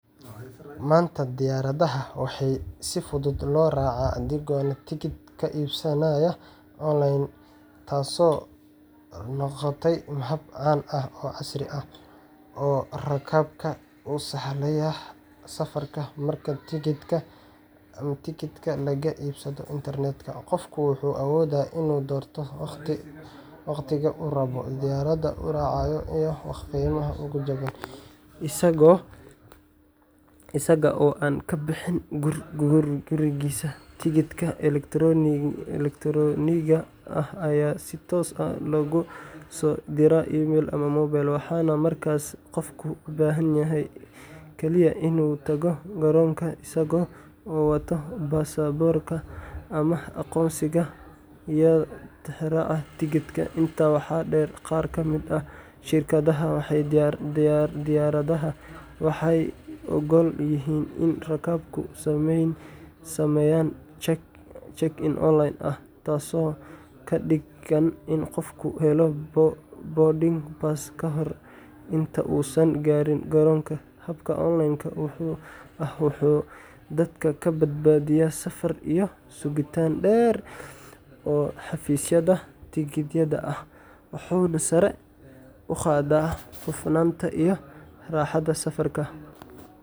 Maanta, diyaaradaha waxaa si fudud loo raacaa adigoo tigidhka ka iibsanaya online, taasoo noqotay hab caan ah oo casri ah oo rakaabka u sahlaya safarka. Marka tigidhka laga iibsado internet-ka, qofku wuxuu awoodaa inuu doorto waqtiga uu rabo, diyaaradda uu raacayo, iyo qiimaha ugu jaban, isaga oo aan ka bixin gurigiisa. Tigidhka elektaroonigga ah ayaa si toos ah loogu soo diraa email ama mobile, waxaana markaas qofku u baahan yahay kaliya in uu tago garoonka isaga oo wata baasaboorka ama aqoonsiga, iyo tixraaca tigidhka. Intaa waxaa dheer, qaar ka mid ah shirkadaha diyaaradaha waxay oggol yihiin in rakaabku sameeyaan check-in online ah, taasoo ka dhigan in qofku helo boarding pass ka hor inta uusan gaarin garoonka. Habkan online-ka ah wuxuu dadka ka badbaadiyaa safar iyo sugitaan dheer oo xafiisyada tigidhada ah, wuxuuna sare u qaadaa hufnaanta iyo raaxada safarka.